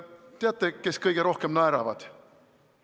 Teate, kes kõige rohkem naeravad?